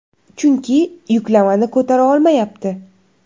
Chunki yuklamani ko‘tara olmayapti.